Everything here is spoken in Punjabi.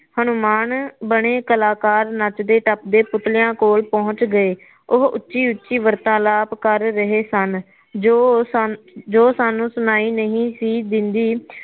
ਹਨੂਮਾਨ ਬਣੇ ਕਲਾਕਾਰ ਨੱਚਦੇ ਟੱਪਦੇ ਪੁਤਲਿਆ ਕੋਲੇ ਪਹੁਚ ਗਏ ਉਹ ਉਚੀ ਉਚੀ ਵਰਤਾਲਾਪ ਕਰ ਰਹੇ ਸਨ ਜੋ ਸਾਨੂੰ ਜੋ ਸਾਨੂੰ ਸੁਣਾਈ ਨਹੀ ਸੀ ਦਿੰਦੀ